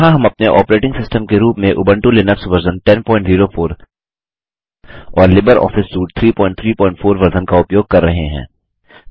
यहाँ हम अपने ऑपरेटिंग सिस्टम के रूप में उंबटू लिनक्स वर्ज़न 1004 और लिबर ऑफिस सूट 334 वर्ज़न का उपयोग कर रहे हैं